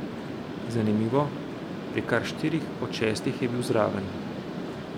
Zanimivo, pri kar štirih od šestih je bil zraven.